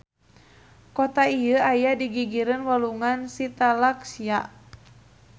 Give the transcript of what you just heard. Kota ieu aya di gigireun Walungan Shitalakshya.